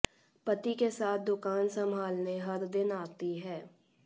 पति के साथ दुकान संभालने हर दिन आती हैं